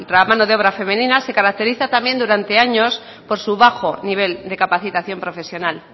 la mano de obra femenina se caracteriza también durante años por su bajo nivel de capacitación profesional